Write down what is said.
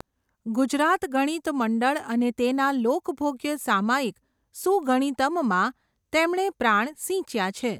ગુજરાત ગણિત મંડળ અને તેના લોકભોગ્ય સામયિક સુગણિતમ્ માં તેમણે પ્રાણ સિંચ્યા છે.